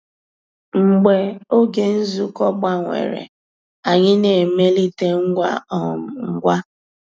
Mgbeé ògé nzukọ́ gbànwèrè, ànyị́ ná-èmélìté ngwá um ngwá.